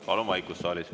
Palun saalis vaikust!